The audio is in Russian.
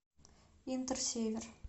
интер север